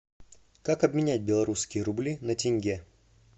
как обменять белорусские рубли на тенге